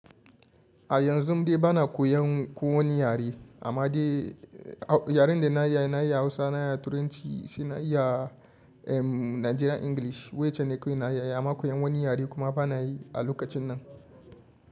A yanzu dai bana koyan ko wani yare amma dai yaren da na yi na yi Hausa, na yi Turanci, suna yi a Nigerian English wacce ne koyin na yi amma koyan wani yare kuma bana yi a lokacin nan.